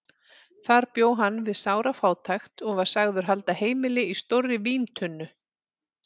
Þar bjó hann við sára fátækt og var sagður halda heimili í stórri víntunnu.